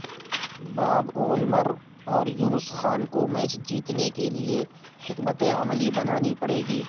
باب وولمر اور یونس خان کو میچ جیتنے کے لیے حکمت عملی بنانی پڑے گی